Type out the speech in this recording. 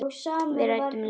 Við ræddum lengi saman.